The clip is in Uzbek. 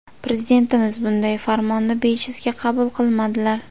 Prezidentimiz bunday farmonni bejizga qabul qilmadilar.